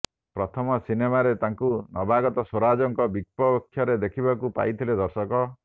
ପ୍ରଥମ ସିନେମାରେ ତାଙ୍କୁ ନବାଗତ ସ୍ୱରାଜଙ୍କ ବିପକ୍ଷରେ ଦେଖିବାକୁ ପାଇଥିଲେ ଦର୍ଶକ